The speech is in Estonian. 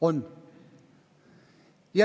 On.